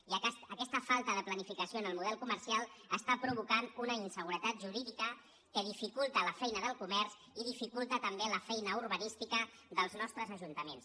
i aquesta falta de planificació en el model comercial està provo·cant una inseguretat jurídica que dificulta la feina del comerç i dificulta també la feina urbanística dels nos·tres ajuntaments